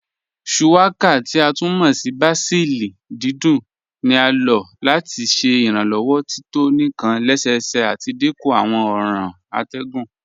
Shuwaka, ti a tún mọ́ ní bàsílì dídùn ní à lọ́ láti ṣẹ́ ìrànlowọ́ tító níkàn lẹ́sẹ́sẹ́ àti dínkú àwọn ọ̀ran àtẹ̀gùn.